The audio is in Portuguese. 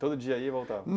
Todo dia ia e voltava?